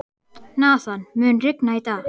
Nathan, mun rigna í dag?